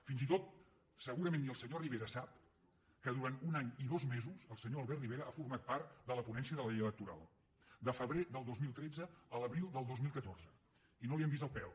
fins i tot segurament ni el senyor rivera sap que durant un any i dos mesos el senyor albert rivera ha format part de la ponència de la llei electoral de febrer del dos mil tretze a l’abril del dos mil catorze i no li hem vist el pèl